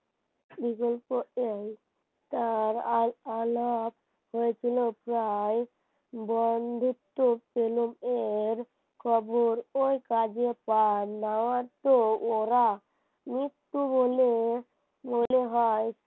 তার আলাপ হয়েছিল প্রায় বন্ধুত্ত্ব এর কবর ও কাজে ওরা মৃত্যু বলে মনে হয়